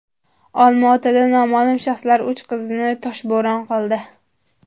Olma-Otada noma’lum shaxslar uch qizni toshbo‘ron qildi.